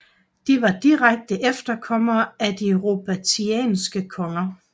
De var direkte efterkommere af de Robertianske konger